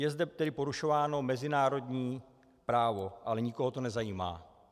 Je zde tedy porušováno mezinárodní právo, ale nikoho to nezajímá.